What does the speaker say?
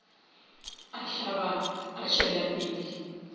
a hlaba a tšwela pele